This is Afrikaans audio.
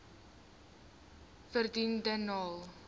vredendal